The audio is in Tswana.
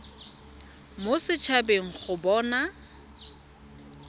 mo set habeng go bona